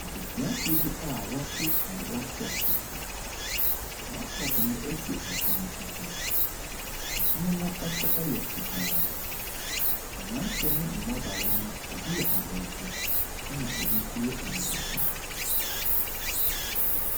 Adesuafoɔ bi a ɔte wɔn laptop akyi. Laptop no esi ɛpono ɛso. Ɛpono no so yɛ fitaa. Mmranteɛ ne mmabaawa no ebi yɛ abrɔfo ɛna ebi nso yɛ abibifoɔ.